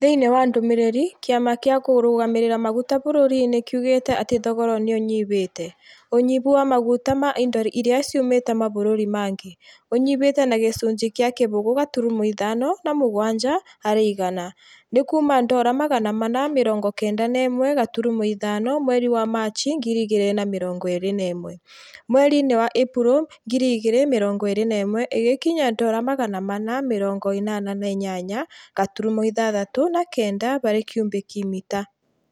Thĩinĩ wa ndumiriri, kĩama gia kũrugamĩrĩra maguta bũrũri-inĩ kiugĩte atĩ thogora nĩ ũnyihĩte. ũnyihu nĩ wa maguta ma indo iria ciumĩte mabũrũri mangĩ . ũnyihĩte na gĩcunjĩ kĩa kĩbũgũ gaturumo ithano na mũgwanja harĩ igana. Nĩ kuuma dora magana mana mĩrongo kenda na ĩmwe gaturumo ithano mweri wa Machi 2021. Mweri-inĩ wa Ĩpuro 2021 ĩgĩkinya dora magana mana mĩrongo ĩnana na inyanya gaturumo ithathatũ na kenda harĩ cubic mita.